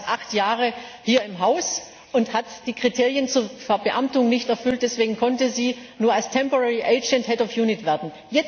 Sie war erst acht Jahre hier im Haus und hat die Kriterien zur Verbeamtung nicht erfüllt, deswegen konnte sie nur als Zeitbedienstete werden.